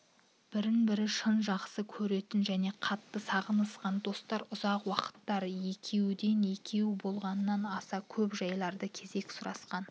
бірін-бірі шын жақсы көретін және қатты сағынысқан достар ұзақ уақыттар екеуден-екеу болғанда аса көп жайларды кезек сұрасқан